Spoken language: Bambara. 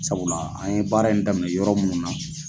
Sabula an ye baara in daminɛ yɔrɔ munnu na.